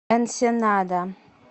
энсенада